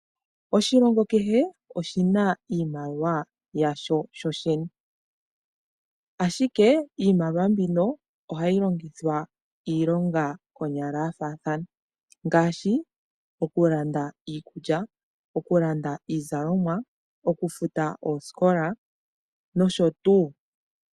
Oshilongo kehe oshina iimaliwa yasho . Iimaliwa mbino ohayi longithwa iilonga oyindji ngaashi okulanda iikulya ,iizalomwa, okufuta omanongelo nosho tuu.